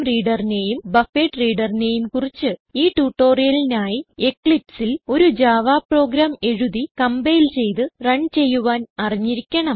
InputStreamReaderനേയും BufferedReaderനേയും കുറിച്ച് ഈ ട്യൂട്ടോറിയലിനായി Eclipseൽ ഒരു ജാവ പ്രോഗ്രാം എഴുതി കംപൈൽ ചെയ്ത് റൺ ചെയ്യുവാൻ അറിഞ്ഞിരിക്കണം